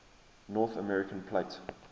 north american plate